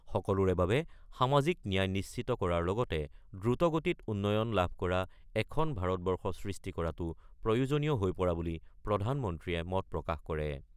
সকলোৰে বাবে সামাজিক ন্যায় নিশ্চিত কৰাৰ লগতে দ্ৰুত গতিত উন্নয়ন লাভ কৰা এখন ভাৰতবৰ্ষ সৃষ্টি কৰাটো প্ৰয়োজনীয় হৈ পৰা বুলি প্ৰধানমন্ত্ৰীয়ে মত প্ৰকাশ কৰে।